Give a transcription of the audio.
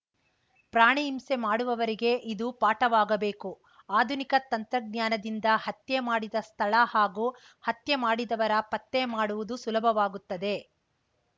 ಪ್ರಾಣಿ ಹಿಂಸೆ ಮಾಡುವವರಿಗೆ ಇದು ಪಾಠವಾಗಬೇಕು ಆಧುನಿಕ ತಂತ್ರಜ್ಞಾನದಿಂದ ಹತ್ಯೆ ಮಾಡಿದ ಸ್ಥಳ ಹಾಗೂ ಹತ್ಯೆ ಮಾಡಿದವರ ಪತ್ತೆ ಮಾಡುವುದು ಸುಲಭವಾಗುತ್ತದೆ